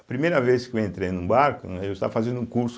A primeira vez que eu entrei num barco, né, eu estava fazendo um curso,